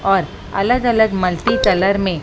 और अलग अलग मल्टी कलर में--